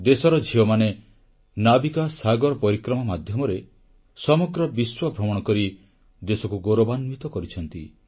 ଦେଶର ଝିଅମାନେ ନାବିକା ସାଗର ପରିକ୍ରମା ମାଧ୍ୟମରେ ସମଗ୍ର ବିଶ୍ୱଭ୍ରମଣ କରି ଦେଶକୁ ଗୌରବାନ୍ୱିତ କରିଛନ୍ତି